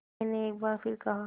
मैंने एक बार फिर कहा